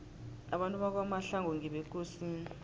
abantu bakwamahlangu ngebekosini